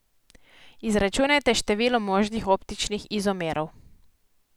Izračunajte število možnih optičnih izomerov.